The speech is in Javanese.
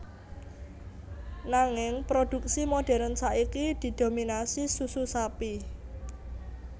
Nanging produksi modèrn saiki didominasi susu sapi